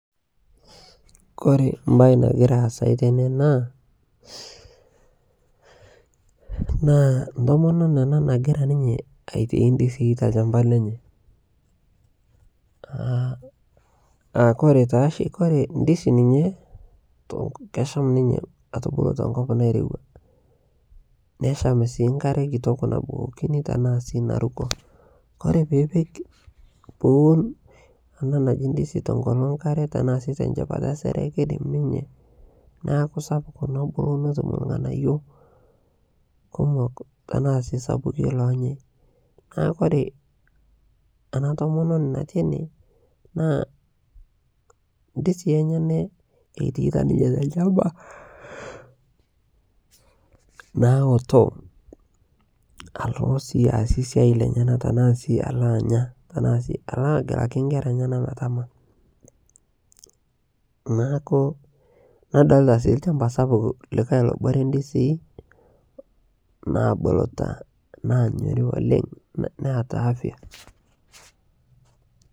kore mbai nagira aasai tene naa ntomononi anaa nagiraa aitai ndizii te lshampa lenye aa kore taashi kore ndizi ninye kesham ninye atubuluu tenkop nairewa nesham sii nkare kitok nabukokini tanaa sii naruko kore piipik kore piipik ana naji ndizi tonkolo nkare tanaa sii tenshepata e sere keidim ninye naaku sapuk nobulu notum lghanayo kumok tanaa sii sapuki lonyai naa kore ana tomononi nati ene naa ndizii enyenaa eitaita ninye telshampa nawotoo alo aasie siai lenyana tanaa sii alo anya tanaa sii aloo agelaki nkera enyana metama naaku nadolita sii lshampa sapuk likai lobore ndizii nabulutaa nanyori oleng nataa